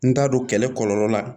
N t'a dɔn kɛlɛ kɔlɔlɔ la